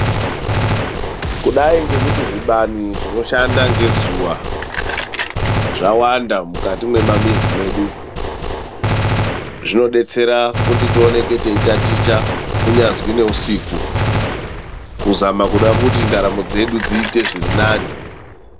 Kudai ngekuti zvibani zvinoshanda ngezuwa zvawanda mukati mwemamizi mwedu. Zvinodetsera kuti tioneke teitaticha kunyazwi neusiku kuzama kuda kuti ndaramo dzedu dziite zvirinani.